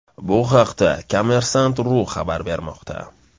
Bu haqda kommersant.ru xabar bermoqda.